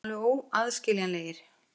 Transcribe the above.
Við erum alveg óaðskiljanlegir.